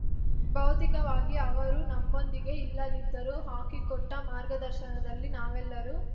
ಭೌತಿಕವಾಗಿ ಅವರು ನಮ್ಮೊಂದಿಗೆ ಇಲ್ಲದಿದ್ದರೂ ಹಾಕಿಕೊಟ್ಟಮಾರ್ಗದರ್ಶನಲ್ಲಿ ನಾವೆಲ್ಲರೂ